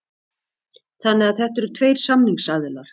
Þannig að þetta eru tveir samningsaðilar